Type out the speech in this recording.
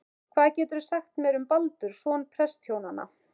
Hvað geturðu sagt mér um Baldur, son prestshjónanna?